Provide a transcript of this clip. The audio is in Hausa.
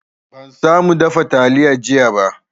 Ban samu dafa taliya jiya ba